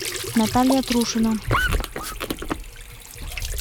наталья трушина